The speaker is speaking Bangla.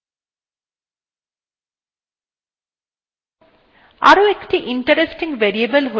দেখুন আমাদের directory এখানে দেখা যাচ্ছে